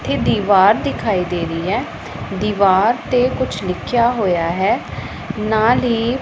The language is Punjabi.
ਇਥੇ ਦੀਵਾਰ ਦਿਖਾਈ ਦੇ ਰਹੀ ਹੈ ਦੀਵਾਰ ਤੇ ਕੁਛ ਲਿਖਿਆ ਹੋਇਆ ਹੈ ਨਾਲ ਹੀ --